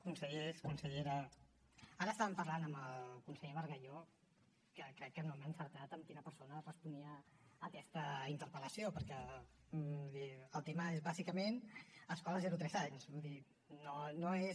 consellers consellera ara estàvem parlant amb el conseller bargalló que crec que no hem encertat en quina persona responia aquesta interpel·lació perquè el tema és bàsicament escola zero a tres anys no és